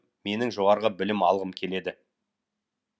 менің жоғарғы білім алғым келеді